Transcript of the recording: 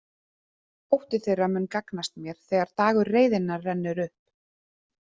Ótti þeirra mun gagnast mér þegar dagur reiðinnar rennur upp.